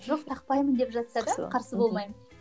жоқ тақпаймын деп жатса да қарсы болмаймын